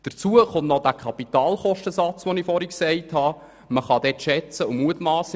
Hinzu kommt noch der Kapitalkostensatz, von dem ich vorher gesprochen habe.